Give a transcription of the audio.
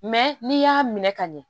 Mɛ n'i y'a minɛ ka ɲɛ